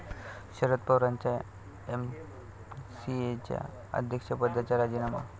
शरद पवारांचा एमसीएच्या अध्यक्षपदाचा राजीनामा